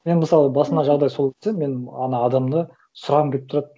мен мысалы басыма жағдай солай өтсе мен ана адамды сұрағым келіп тұрады